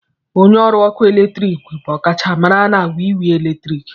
Onye ọrụ ọkụ eletrik bụ ọkachamara na wiwi eletrik.